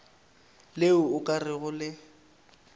le o ka rego le